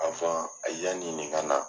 yanni nin ka na.